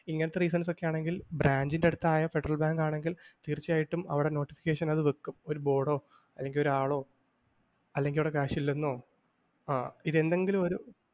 ഇങ്ങനത്തെ reasons ഒക്കെയാണെങ്കിൽ branch ൻ്റെയടുത്തായ ഫെഡറൽ ബാങ്കാണെങ്കിൽ തീർച്ചയായിട്ടും അവിടെ notification അത് വെക്കും. ഒരു ബോർഡോ അല്ലെങ്കിൽ ഒരാളോ അല്ലെങ്കിൽ അവിടെ cash ഇല്ലെന്നോ ആ ഇത് എന്തെങ്കിലുമൊരു